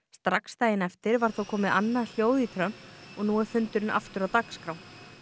strax daginn eftir var þó komið annað hljóð í Trump og nú er fundurinn aftur á dagskrá